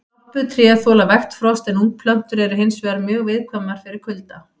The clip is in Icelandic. Stálpuð tré þola vægt frost en ungplöntur eru hins vegar mjög viðkvæmar fyrir kulda.